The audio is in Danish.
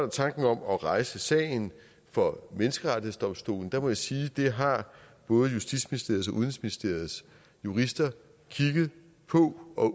tanken om at rejse sagen for menneskerettighedsdomstolen der må jeg sige at det har både justitsministeriets og udenrigsministeriets jurister kigget på og